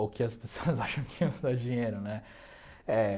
Ou que as pessoas acham que não dá dinheiro, né? Eh